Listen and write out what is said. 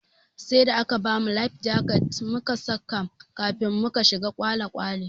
Sai da aka bamu "life jacket"mu saka kafin muka shiga kwale kwale.